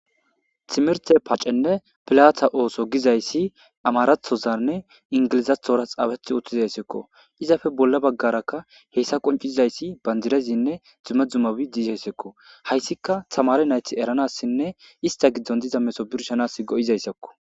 Timerte pacenne pilata ooso gizayssi amarathozanne ingilizathora xaaweth utthizayssekko izafe bolla baggarakka heyssa qoncizayssi bandirezinne dumedzumabi diizhaysekko hayssika tamare nayti eranassinne ista giddon diza meso birshanas go7izayssakko.